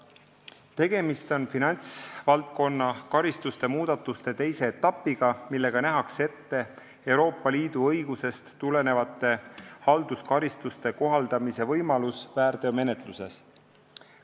Tegemist on finantsvaldkonna karistuste muudatuste teise etapiga, millega nähakse ette Euroopa Liidu õigusest tulenevate halduskaristuste kohaldamise võimalus väärteomenetluses.